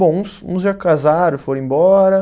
Bom, uns uns já casaram, foram embora.